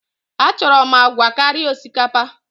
Achọrọ m agwa karịa osikapa!